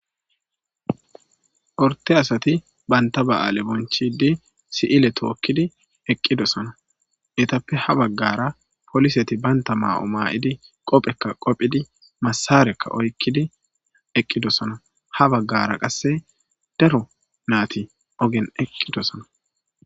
orte asati banta ba7aale bonchidi si7ile tookkidi eqqidosana yetappe ha baggara poliseti banta maa7o maa7idi qophekka qophidi masarekka oykkidi eqqidosana ha baggara qasse dero naati ogen eqqidosana